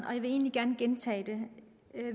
og jeg vil egentlig gerne gentage det